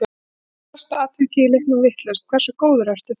Ef þú ert með stærsta atvikið í leiknum vitlaust, hversu góður ertu þá?